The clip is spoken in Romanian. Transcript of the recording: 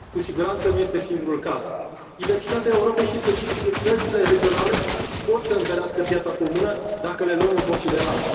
Cu siguranță, nu este singurul caz. Diversitatea Europei și specificitățile regionale pot să întărească piața comună, dacă le luăm în considerare.